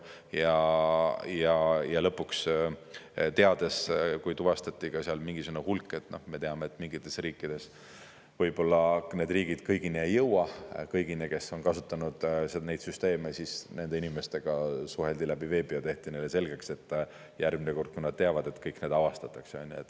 Ja lõpuks, kui tuvastati seal mingisugune hulk – me teame, et mingites riikides võib-olla kõigini ei jõuta, kõigini, kes on kasutanud neid süsteeme –, siis nende inimestega suheldi läbi veebi ja tehti neile selgeks, et järgmine kord nad teavad, et kõik need avastatakse.